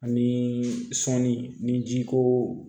Ani sɔnni ni jiko